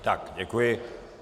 Tak děkuji.